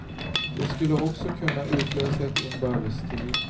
Det skulle också kunna utlösa ett inbördeskrig.